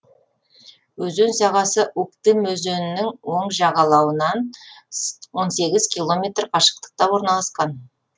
өзен сағасы уктым өзенінің оң жағалауынан он сегіз километр қашықтықта орналасқан